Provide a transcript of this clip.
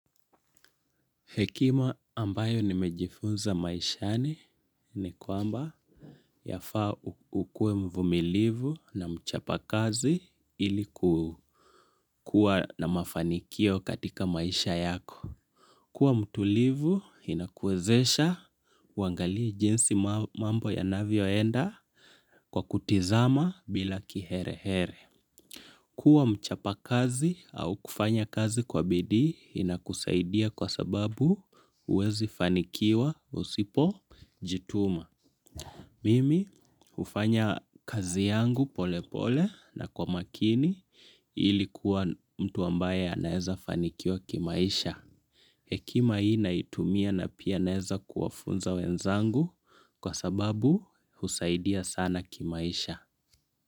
Hekima ambayo nimejifunza maishani ni kwamba yafaa ukue mvumilivu na mchapakazi ili kuwa na mafanikio katika maisha yako. Kuwa mtulivu inakuezesha huangalii jinsi mambo yanavyoenda kwa kutizama bila kiherehere. Kuwa mchapakazi au kufanya kazi kwa bidii inakusaidia kwa sababu huwezi fanikiwa usipojituma. Mimi hufanya kazi yangu pole pole na kwa makini ili kuwa mtu ambaye anaeza fanikiwa kimaisha. Hekima hii naitumia na pia naeza kuwafunza wenzangu kwa sababu husaidia sana kimaisha.